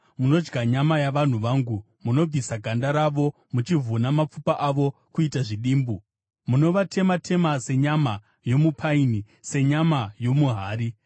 munodya nyama yavanhu vangu, munobvisa ganda ravo, muchivhuna mapfupa avo kuita zvidimbu; munovatema-tema senyama yokuisa mupani, senyama yomuhari?”